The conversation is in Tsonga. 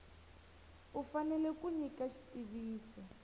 u fanele ku nyika xitiviso